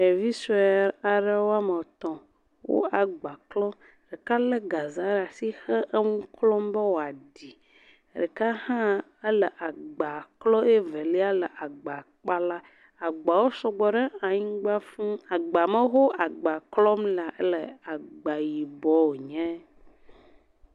ɖevisoe aɖe woametɔ̃ wó agba klɔ ɖeka le gazea ɖe asi hele eŋu klɔm be woaɖì ɖeka hã éle agba klɔ ye velia le agba kpala agba sɔgbɔ ɖe anyigba fūu agba ma ho wóle agba klɔ lea éle agba yibɔ wonye